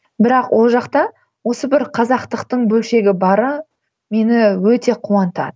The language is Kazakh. бірақ ол жақта осы бір қазақтықтың бөлшегі бары мені өте қуантады